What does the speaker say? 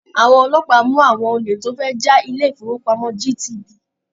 Àwọn ọlọ́pàá mú àwọn olè tó fẹ́ ja ilé-ìfópamọ́ GTB.